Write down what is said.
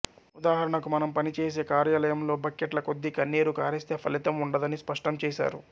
ఉదాహరణకు మనం పని చేసే కార్యాలయంలో బక్కెట్ల కొద్దీ కన్నీరు కారిస్తే ఫలితం ఉండదని స్పష్టం చేశారు